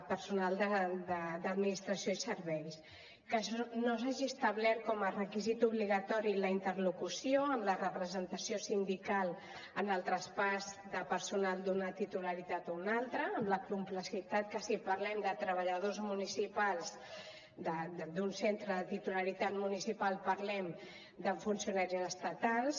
personal d’administració i serveis que no s’hagi establert com a requisit obligatori la interlocució amb la representació sindical en el traspàs de personal d’una titularitat a una altra amb la complexitat que si parlem de treballadors municipals d’un centre de titularitat municipal parlem de funcionaris estatals